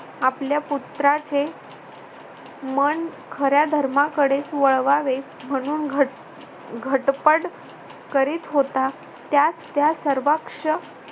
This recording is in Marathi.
आपल्या पुत्राचे मन खऱ्या धर्माकडेच वळवावे. म्हणून घटघटपड करीत होता. त्यात त्या सर्वांक्ष